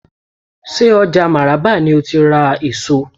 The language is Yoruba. Ṣé ọjà máràba ni ó ti ra èso?